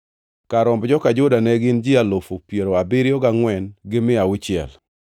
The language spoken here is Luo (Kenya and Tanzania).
Kar romb joka Juda ne gin ji alufu piero abiriyo gangʼwen gi mia auchiel (74,600).